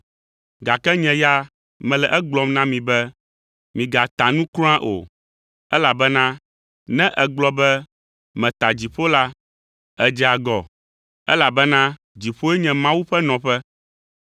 gake nye ya, mele egblɔm na mi be, migata nu kura o, elabena ne ègblɔ be meta Dziƒo la, èdze agɔ, elabena dziƒoe nye Mawu ƒe nɔƒe.